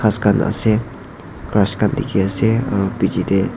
grass khan ase grass khan dekhi ase aru picche teh--